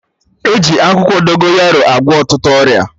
E ji akwụkwọ Dogonyaro agwọ ọtụtụ ọrịa